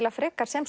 frekar sem